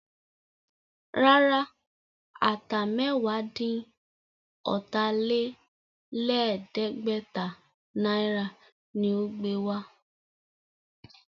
Rárá, Ata mẹ́wàá-dín-ọ̀tà-lé-lẹ̀ẹ́dẹ́gbẹ̀ta náírà ni ó gbé wá